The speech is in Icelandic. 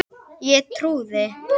Ég trúði.